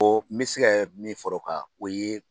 O n mɛ se kɛ min fara o kan o ye